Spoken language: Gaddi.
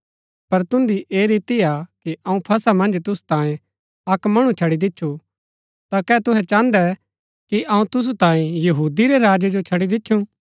पर तुन्दी ऐह रीति हा कि अऊँ फसह मन्ज तुसु तांयें अक्क मणु छड़ी दिच्छु ता कै तुहै चाहन्दै कि अऊँ तुसु तांयें यहूदी रै राजै जो छड़ी दिच्छु